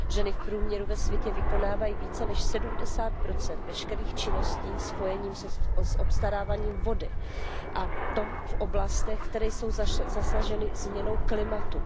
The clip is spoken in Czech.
Ženy v průměru ve světě vykonávají více než 70 veškerých činností spojených s obstaráváním vody, a to v oblastech, které jsou zasaženy změnou klimatu.